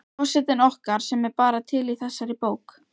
Forsetinn okkar sem er bara til í þessari bók